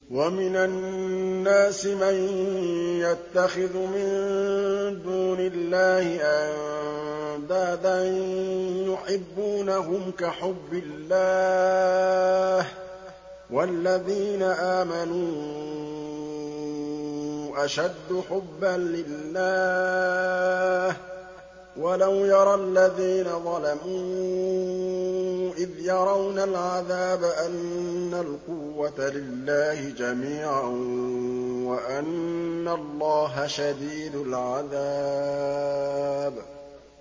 وَمِنَ النَّاسِ مَن يَتَّخِذُ مِن دُونِ اللَّهِ أَندَادًا يُحِبُّونَهُمْ كَحُبِّ اللَّهِ ۖ وَالَّذِينَ آمَنُوا أَشَدُّ حُبًّا لِّلَّهِ ۗ وَلَوْ يَرَى الَّذِينَ ظَلَمُوا إِذْ يَرَوْنَ الْعَذَابَ أَنَّ الْقُوَّةَ لِلَّهِ جَمِيعًا وَأَنَّ اللَّهَ شَدِيدُ الْعَذَابِ